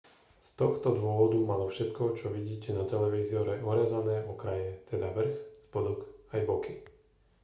z tohto dôvodu malo všetko čo vidíte na televízore orezané okraje teda vrch spodok aj boky